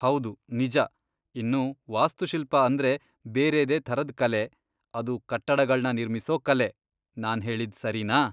ಹೌದು, ನಿಜ! ಇನ್ನು ವಾಸ್ತುಶಿಲ್ಪ ಅಂದ್ರೆ ಬೇರೆದೇ ಥರದ್ ಕಲೆ, ಅದು ಕಟ್ಟಡಗಳ್ನ ನಿರ್ಮಿಸೋ ಕಲೆ. ನಾನ್ ಹೇಳಿದ್ ಸರಿನಾ?